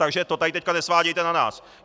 Takže to tady teď nesvádějte na nás.